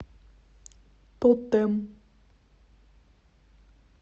тотем